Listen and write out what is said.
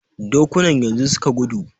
Dokunan yanzu suka gudu.